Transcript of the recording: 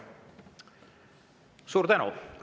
Suur tänu!